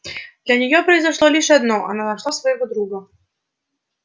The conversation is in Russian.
для неё произошло лишь одно она нашла своего друга